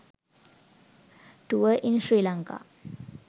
tours in sri lanka